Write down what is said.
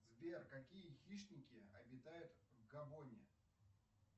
сбер какие хищники обитают в габоне